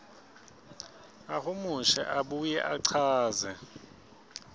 ahumushe abuye achaze